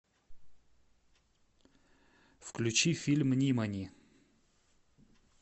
включи фильм нимани